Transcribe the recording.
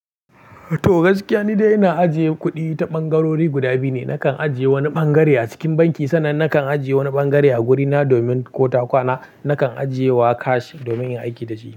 To gaskiya, ni dai ina ajiye kuɗi ta ɓangarori guda biyu ne. Nakan ajiye wani ɓangare a cikin banki sannan nakan ajiye wani ɓangare a gurina domin ko ta kwana nakan ajiye wa cash domin in yi aiki da shi.